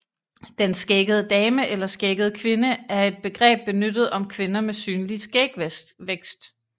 Den skæggede dame eller skæggede kvinde er et begreb benyttet om kvinder med synlig skægvækst